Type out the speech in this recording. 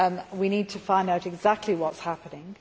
We need to find out exactly what is happening.